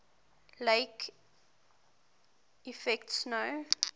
lake effect snow